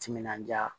Timinandiya